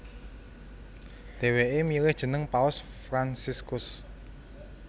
Dhèwèké milih jeneng Paus Fransiskus